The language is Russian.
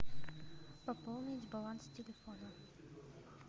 пополнить баланс телефона